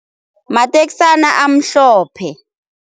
Mateksana amhlophe.